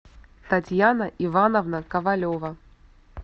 татьяна ивановна ковалева